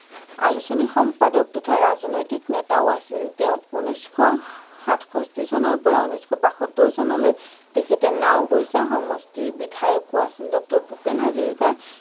আলোচনী সম্পাদক তথা ৰাজনৈতিক নেতাও আছিল, তেওঁ উনৈচশ সাতষষ্ঠি চনৰ পৰা উনৈচশ বাসত্তৰ চনলৈ তেখেঁতে নাওবৈচা সমষ্টিৰ বিধায়কো আছিল । ভূপেন হাজৰিকা